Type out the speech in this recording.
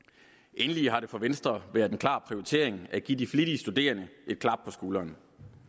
endelig har det for venstre været en klar prioritering at give de flittige studerende et klap på skulderen